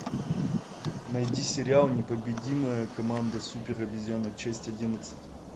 найди сериал непобедимая команда супер обезьянок часть одиннадцать